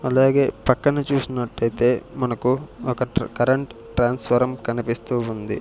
అలాగే పక్కన చూసినట్టైతే మనకు ఒక కరెంట్ ట్రాన్స్ఫారం కనిపిస్తూ ఉంది.